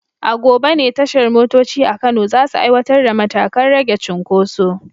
A gobe ne tashar motoci a Kano za su aiwatar da matakan rage cunkoso.